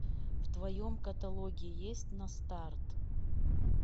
в твоем каталоге есть на старт